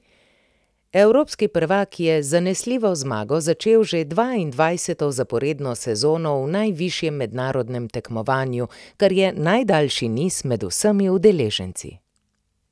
Evropski prvak je z zanesljivo zmago začel že dvaindvajseto zaporedno sezono v najvišjem mednarodnem tekmovanju, kar je najdaljši niz med vsemi udeleženci.